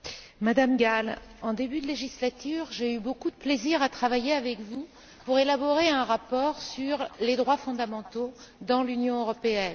Madame Gál, en début de législature, j'ai eu beaucoup de plaisir à travailler avec vous pour élaborer un rapport sur les droits fondamentaux dans l'Union européenne.